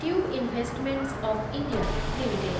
tube investments of India limited